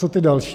Co ty další?